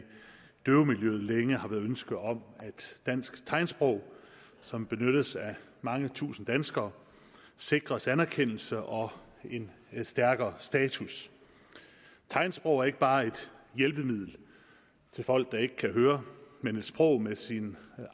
døvemiljøet længe har været ønske om at dansk tegnsprog som benyttes af mange tusinde danskere sikres anerkendelse og en stærkere status tegnsprog er ikke bare et hjælpemiddel til folk der ikke kan høre men et sprog med sin